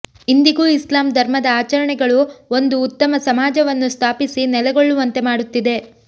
ಇಂದಿಗೂ ಇಸ್ಲಾಮ್ ಧರ್ಮದ ಆಚರಣೆಗಳು ಒಂದು ಉತ್ತಮ ಸಮಾಜವನ್ನು ಸ್ಥಾಪಿಸಿ ನೆಲೆಗೊಳ್ಳುವಂತೆ ಮಾಡುತ್ತಿದೆ